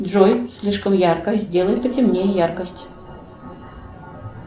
джой слишком ярко сделай потемнее яркость